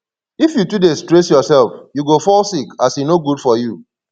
if you too dey stress yourself you go fall sick as e no good for you